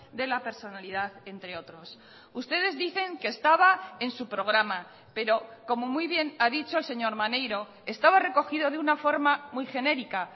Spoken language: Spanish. de la personalidad entre otros ustedes dicen que estaba en su programa pero como muy bien ha dicho el señor maneiro estaba recogido de una forma muy genérica